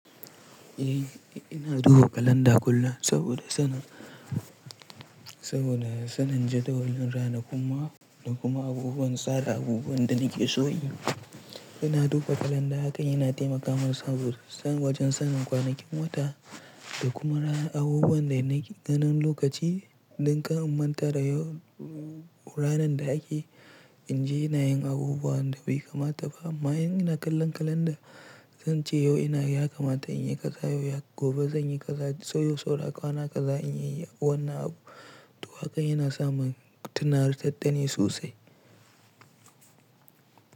Eh, ina duba kalanda kullum saboda sanin, saboda sanin jadawalin ranakun mako, da kuma abubuwan tsara abubuwan da nake so in yi. Ina duba kalanda hakan yana taimaka mun sabo, wajen sanin kwanakin wata da kuma ranar abubuwan da nake ganin lokaci don kar in manta da yau ranar da ake, in je ina yin abubuwan da bai kamata ba. Amma in ina kallon kalanda, zan ce yau yakamata, in yi kazah, gobe zan yi kazah, ko yau saura kwana kaza in yi wannan abu. To hakan yana sa mun tunatar dani sosai.